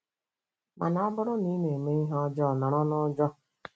Mana ọ bụrụ na ị na-eme ihe ọjọọ, nọrọ n'ụjọ.